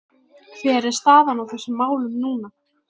Hver er staðan á þessum málum núna?